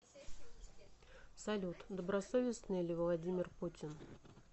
салют добросовестный ли владимир путин